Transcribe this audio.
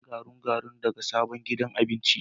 Na sayi garau-garau daga sabon gidan abinci.